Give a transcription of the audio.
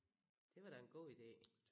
Det var da en god idé